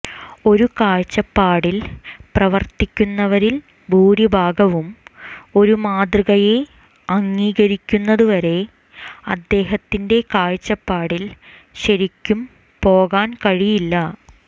ഒരു കാഴ്ചപ്പാടിൽ പ്രവർത്തിക്കുന്നവരിൽ ഭൂരിഭാഗവും ഒരു മാതൃകയെ അംഗീകരിക്കുന്നതുവരെ അദ്ദേഹത്തിന്റെ കാഴ്ചപ്പാടിൽ ശരിക്കും പോകാൻ കഴിയില്ല